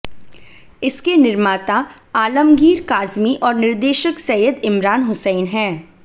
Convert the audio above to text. इसके निर्माता आलमगीर काज़मी और निर्देशक सैयद इमरान हुसैन हैं